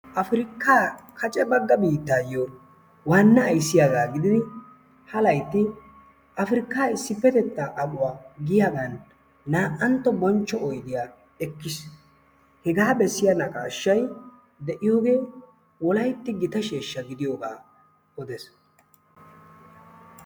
afrikka kacce bagga biittayo waana ayssiyaaga gididi ha laytti afrikka issippetetta ammuwa giyaagan na''antto bonchcho oydiyaa ekkiis. hegaa bessiyanaqqashshay de'iyooge wolaytti gita sheeshsha gidiyoogaa odees.